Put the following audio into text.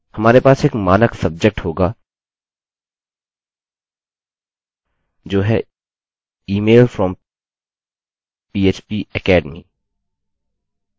हमारे पास एक मानक subject होगा जो है email from phpacademy